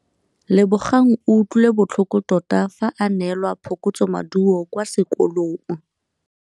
Lebogang o utlwile botlhoko tota fa a neelwa phokotsômaduô kwa sekolong.